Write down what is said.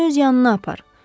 Məni öz yanına apar.